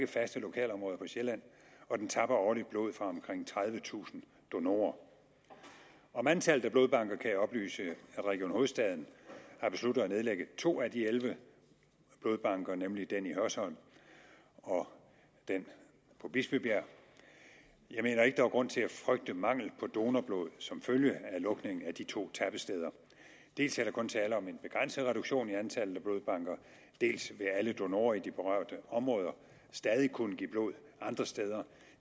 faste lokalområder på sjælland og den tapper årligt blod fra omkring tredivetusind donorer om antallet af blodbanker kan jeg oplyse at region hovedstaden har besluttet at nedlægge to af de elleve blodbanker nemlig den i hørsholm og den på bispebjerg jeg mener ikke der er grund til at frygte mangel på donorblod som følge af lukningen af de to tappesteder dels er der kun tale om en begrænset reduktion i antallet af blodbanker dels vil alle donorer i de berørte områder stadig kunne give blod andre steder